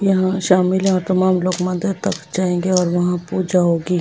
लोग मंदिर तक जाएंगे और वहां पूजा होगी।